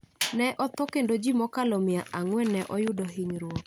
ne otho kendo ji mokalo mia ang'wen ne oyudo hinyruok.